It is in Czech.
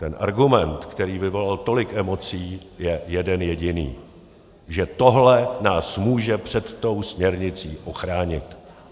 Ten argument, který vyvolal tolik emocí, je jeden jediný: že tohle nás může před tou směrnicí ochránit.